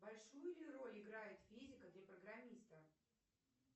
большую ли роль играет физика для программиста